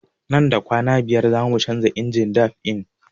Nan da kwana biyar zamu canza injin dab'in